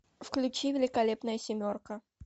включи великолепная семерка